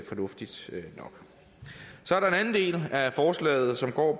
fornuftigt nok så er der en anden del af forslaget som